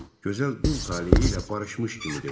Gözəl dul taleyi ilə barışmış kimi dedi.